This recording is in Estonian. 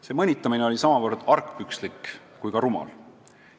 See mõnitamine oli samavõrd argpükslik kui ka rumal.